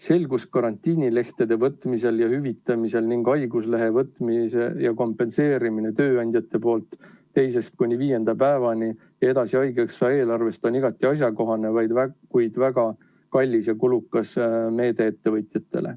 Selgus karantiinilehtede võtmisel ja hüvitamisel ning haiguslehe võtmine ja kompenseerimine tööandjate poolt 2.–5. päevani ja edasi haigekassa eelarvest on igati asjakohane, kuid väga kallis ja kulukas meede ettevõtjatele.